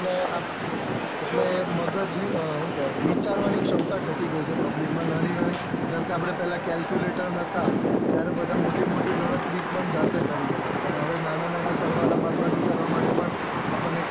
એટલે મગજ ની આ શુકેવાય કેવાય વિચાર વાની ક્ષમતા ઘટી ગયી છે public માં નાની નાની જેમ કે આપડે પેહલા calculator નતા ત્યારે બધા મોટો મોટી ગણતરી પણ જાતે કરી લેતા અને હવે નાના નાના સરવાળા બદબાકી કરવા માટે પણ આપણને